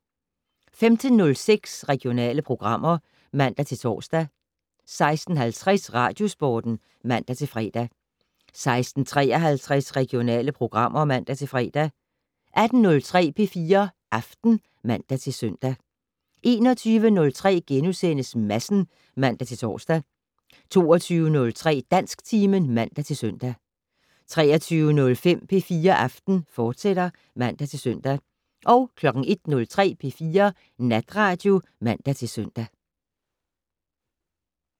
15:06: Regionale programmer (man-tor) 16:50: Radiosporten (man-fre) 16:53: Regionale programmer (man-fre) 18:03: P4 Aften (man-søn) 21:03: Madsen *(man-tor) 22:03: Dansktimen (man-søn) 23:05: P4 Aften, fortsat (man-søn) 01:03: P4 Natradio (man-søn)